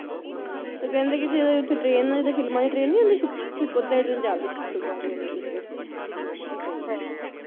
ਹੁੰ ਤੇ ਕਹਿੰਦੇ ਕੇ ਜਿਹੜੀ ਉੱਥੇ train ਆ ਜਿਦਾਂ ਫਿਲਮਾਂ ਚ Train ਨੀ ਹੁੰਦੀ ਛੁਕ ਛੁਕ ਛੁਕ ਉਹਦਾ ਹੀ train ਚੱਲਦੀ ਛੁਕ ਛੁਕ ਵਾਲੀ ਹਲੇ ਵੀ ਉਧਰ ਮੈਂ ਕਿਹਾ ਸਹੀ ਆ, ਹਾਂ ਹਾਂ